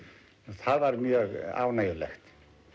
það var mjög ánægjulegt